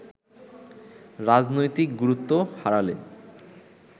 রাজনৈতিক গুরুত্ব হারালে